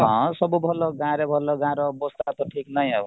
ହଁ ସବୁ ଭଲ ଗାଁ ରେ ଭଲ ଗାଁର ଅବସ୍ଥା ତ ଠିକ ନାହିଁ ଆଉ